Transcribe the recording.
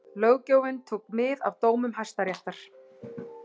Löggjöfin tók mið af dómum Hæstaréttar